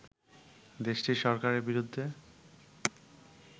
দেশটির সরকারের বিরুদ্ধে